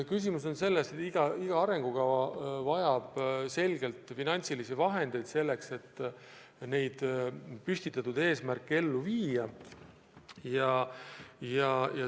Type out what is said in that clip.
Asi on selles, et iga arengukava vajab selgelt finantsilisi vahendeid, et püstitatud eesmärke ellu viia.